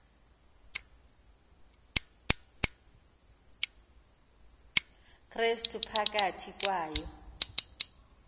krestu phakathi kwayo